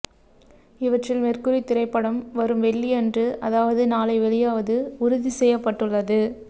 இவற்றில் மெர்க்குரி திரைப்படம் வரும் வெள்ளி அன்று அதாவது நாளை வெளியாவது உறுதி செய்யப்பட்டுள்ளது